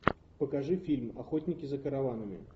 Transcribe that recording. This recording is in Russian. покажи фильм охотники за караванами